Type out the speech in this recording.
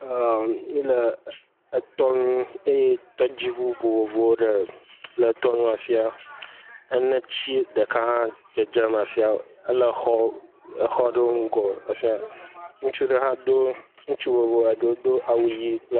Eeee. Míele etɔnu eye tɔdziŋu vovovowo ɖe..le etɔnu, ene ti ɖeka hã dzedzem afi ya ele exɔ..exɔ aɖewo ŋgɔ efia, ŋutsu ɖe hã do, ŋutsu vovovo eɖewo eɖewo do awu ʋi.